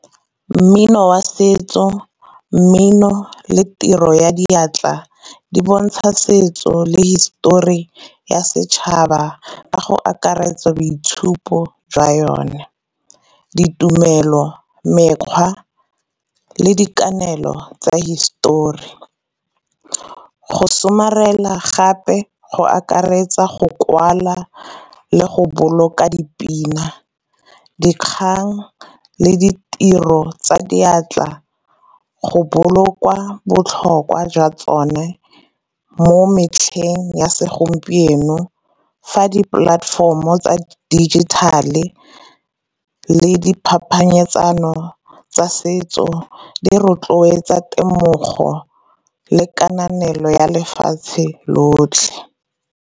Mmino wa setso, mmino, le tiro ya diatla di bontsha setso le hisitori ya setšhaba ka go akaretsa boitshupo jwa yone. Ditumelo, mekgwa, le dikanelo tsa hisetori. Go somarela gape, go akaretsa go kwala, le go boloka dipina, dikgang le ditiro tsa diatla go bolokwa botlhokwa jwa tsone mo metlheng ya segompieno. Fa di platform o tsa digital-e le di phapanyetsano tsa setso di rotloetsa temogo le kananelo ya lefatshe lotlhe.